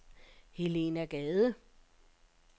Helena Gade